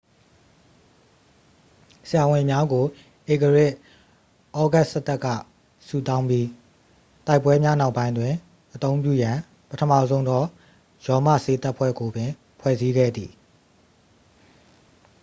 ဆရာဝန်များကို ဧကရာဇ် ဩဂတ်စတပ်က စုဆောင်းခဲ့ပြီး တိုက်ပွဲများနောက်ပိုင်းတွင် အသုံးပြုရန် ပထမဆုံးသော ရောမဆေးတပ်ဖွဲ့ကိုပင် ဖွဲ့စည်းခဲ့သည်